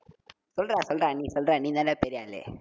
சொல்றா, சொல்றா, நீ சொல்றா, நீதான்டா பெரிய ஆளு